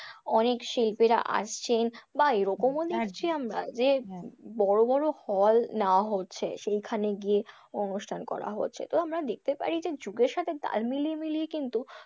অনেক শিল্পীরা আসছেন, বা এরকমও দেখছি আমরা যে বড়ো বড়ো hall নেওয়া হচ্ছে, সেইখানে গিয়ে অনুষ্ঠান করা হচ্ছে। তো আমরা দেখতে পাই যে যুগের সাথে তাল মিলিয়ে মিলিয়ে কিন্তু,